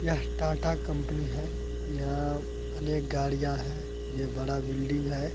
यह टाटा कंपनी है यह अनेक गाड़ियाँ हैं ये बड़ा बिल्डिंग है।